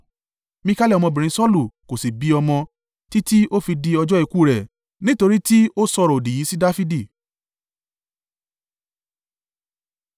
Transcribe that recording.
Mikali ọmọbìnrin Saulu kò sì bí ọmọ, títí o fi di ọjọ́ ikú rẹ̀ nítorí tí ó sọ̀rọ̀-òdì yìí sí Dafidi.